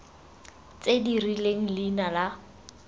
tse di rileng leina la